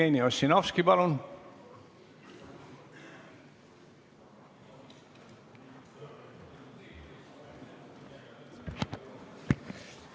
Jevgeni Ossinovski, palun!